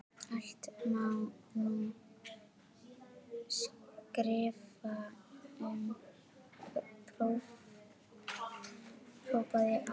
Allt má nú skrifa um, hrópaði afi.